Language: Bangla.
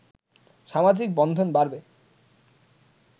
সামাজিক বন্ধন বাড়বে